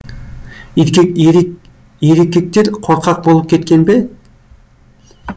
ерекектер қорқақ болып кеткен бе